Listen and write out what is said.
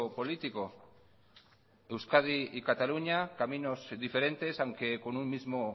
político euskadi y cataluña caminos diferentes aunque con un mismo